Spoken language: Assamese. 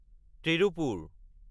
তিৰুপপুৰ